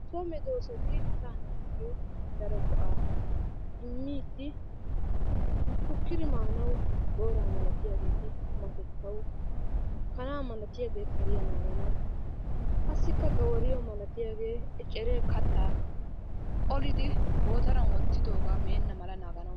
So medoosati asa naatuyyo daro go"a immiidi shukkidi maanaw booraa malatiyageeti qumatettaw, kana malatiyaagee kariyaa naaganaw qassi gawariyo malatiyaage eccere kattaa qollidi gootaran wottidooga meena mala naaganaw ...